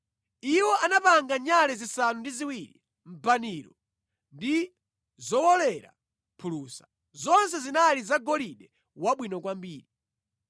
Iwo anapanga nyale zisanu ndi ziwiri, mbaniro ndi zowolera phulusa, zonse zinali zagolide wabwino kwambiri.